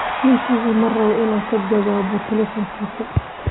Ninkeyga ma rabo inaan ka jawaabo taleefankiisa.